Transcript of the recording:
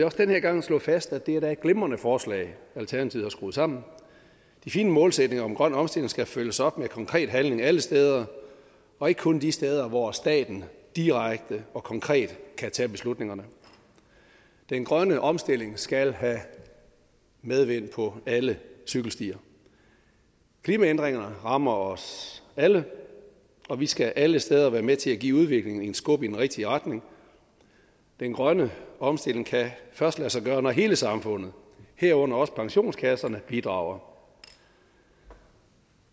også den her gang slå fast at det da er et glimrende forslag alternativet har skruet sammen de fine målsætninger om grøn omstilling skal følges op med konkret handling alle steder og ikke kun de steder hvor staten direkte og konkret kan tage beslutningerne den grønne omstilling skal have medvind på alle cykelstier klimaændringerne rammer os alle og vi skal alle steder være med til at give udviklingen et skub i den rigtige retning den grønne omstilling kan først lade sig gøre når hele samfundet herunder også pensionskasserne bidrager